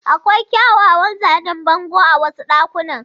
Akwai kyawawan zanen bango a wasu ɗakunan.